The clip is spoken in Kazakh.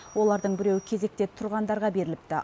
олардың біреуі кезекте тұрғандарға беріліпті